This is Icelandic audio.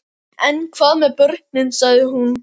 En hvað með börnin, sagði hún.